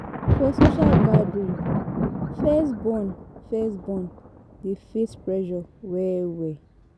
For social gathering, first born first born dey face pressure well well